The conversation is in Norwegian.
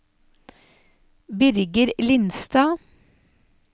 Birger Lindstad